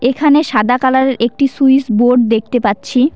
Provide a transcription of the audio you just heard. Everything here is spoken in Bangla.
এখানে সাদা কালারের একটি সুইস বোর্ড দেখতে পাচ্ছি।